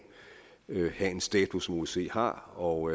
have en status osce har og